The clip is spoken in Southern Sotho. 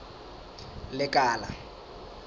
lekala